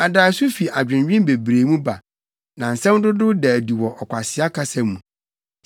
Adaeso fi adwennwen bebree mu ba, na nsɛm dodow da adi wɔ ɔkwasea kasa mu.